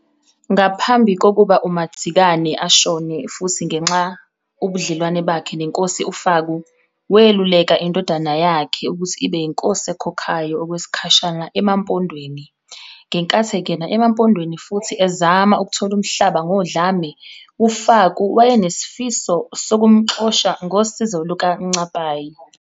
Ngaphambi kokuba uMadzikane ashone futhi ngenxa ubudlelwano bakhe neNkosi uFaku, weluleka indodana yakhe ukuthi ibe yiNkosi ekhokhayo okwesikhashana eMampondweni. Ngenkathi engena eMampondweni futhi ezama ukuthola umhlaba ngodlame, uFaku wayenesifiso sokumxosha ngosizo lukaNcapayi.